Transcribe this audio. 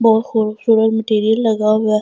बहुत खुबसूरत मटेरियल लगा हुआ हैं कमरा वो--